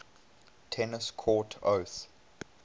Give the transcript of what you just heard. tennis court oath